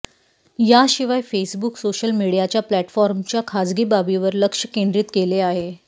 याशिवाय Facebook social मीडियाच्या प्लॅटफॉर्मच्या खाजगी बाबीवर लक्ष केंद्रीत केले आहे